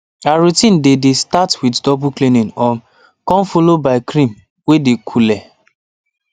her routine dey dey start with double cleaning um come follow by cream way dey coole